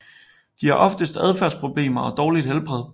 De har oftest adfærdsproblemer og dårligt helbred